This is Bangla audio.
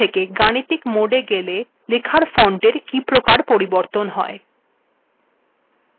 এবার আমরা দেখবোটেক্সট মোড থেকে গাণিতিক মোডে গেলে লেখার ফন্টের িক প্রকার পরিবর্তন হয়